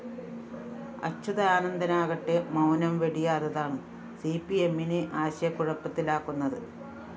അച്യുതാനന്ദനാകട്ടെ മൗനം വെടിയാത്തതാണ് സിപിഎമ്മിനെ ആശയക്കുഴപ്പത്തിലാക്കുന്നത്